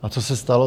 A co se stalo?